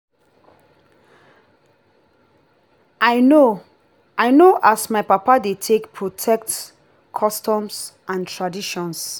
i know know as my papa dey take protect customs and traditions.